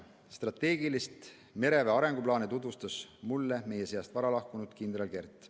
Strateegilisi mereväe arenguplaane tutvustas mulle varalahkunud kindral Kert.